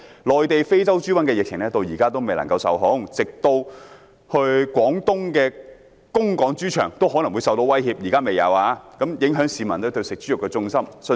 內地的非洲豬瘟疫情至今並未受控，廣東的供港豬場都可能受到威脅，雖然現時仍未發生，但已影響市民食用豬肉的信心。